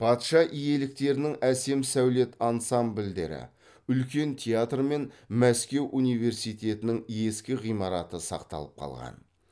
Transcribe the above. патша иеліктерінің әсем сәулет ансамбльдері үлкен театр мен мәскеу университетінің ескі ғимараты сақталып қалған